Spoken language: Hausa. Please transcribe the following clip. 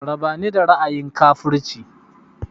Raba ni da ra'ayin kafurci!